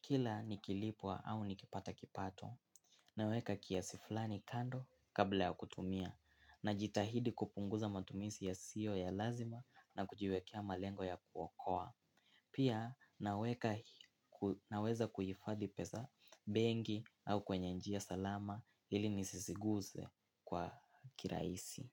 Kila nikilipwa au nikipata kipato. Naweka kiasi fulani kando kabla ya kutumia. Najitahidi kupunguza matumizi yasiyo ya lazima na kujiwekea malengo ya kuokoa. Pia naweka naweza kuhifadhi pesa benki au kwenye njia salama ili nisisiguze kwa kirahisi.